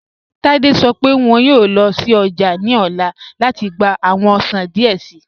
Tádé sọ̀ pẹ wọn yọọ lọ sí ọjà ni ọla láti gbà awọn ọṣàn díẹ̀ sìí